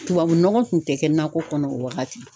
Tubabu nɔgɔ tun tɛ kɛ nakɔ kɔnɔ o wagati.